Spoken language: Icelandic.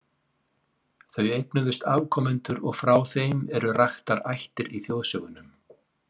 Þau eignuðust afkomendur og frá þeim eru raktar ættir í þjóðsögunum.